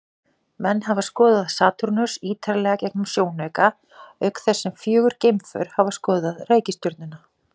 Menn hafa skoðað Satúrnus ýtarlega gegnum sjónauka, auk þess sem fjögur geimför hafa skoðað reikistjörnuna.